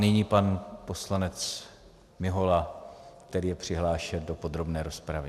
Nyní pan poslanec Mihola, který je přihlášen do podrobné rozpravy.